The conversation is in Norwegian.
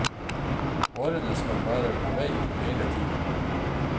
Varene skal være på vei hele tiden.